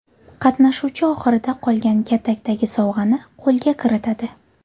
Qatnashuvchi oxirida qolgan katakdagi sovg‘ani qo‘lga kiritadi.